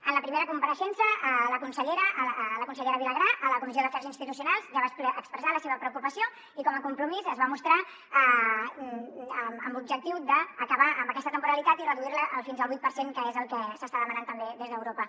en la primera compareixença la consellera vilagrà a la comissió d’afers institucionals ja va expressar la seva preocupació i com a compromís es va mostrar amb l’objectiu d’acabar amb aquesta temporalitat i reduir la fins al vuit per cent que és el que s’està demanant també des d’europa